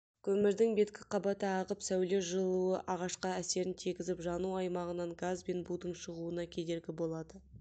көмірдің беткі қабаты ағып сәуле жылуы ағашқа әсерін тигізіп жану аймағынан газ бен будың шығуына кедергі болады